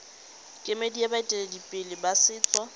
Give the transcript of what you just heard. kemedi ya baeteledipele ba setso